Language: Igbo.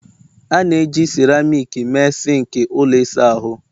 A na-eji seramiiki mee sinki ụlọ ịsa ahụ